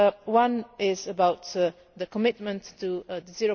One is about the commitment to the